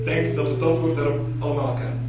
Ik denk dat we het antwoord daarop allemaal kennen.